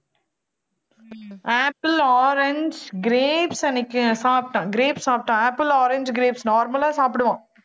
apple, orange, grapes அன்னைக்கு சாப்பிட்டான் grapes சாப்பிட்டான் apple, orange, grapes normal அ சாப்பிடுவான்